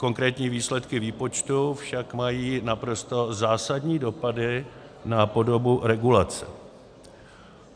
Konkrétní výsledky výpočtu však mají naprosto zásadní dopady na podobu regulace.